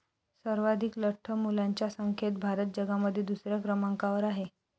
सर्वाधीक लठ्ठ मुलांच्या संख्येत भारत जगामध्ये दुसऱ्या क्रमांकावर आहे.